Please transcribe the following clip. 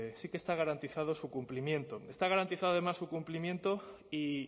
sí que está garantizado su cumplimiento está garantizado además su cumplimiento y